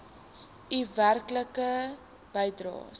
u werklike bydraes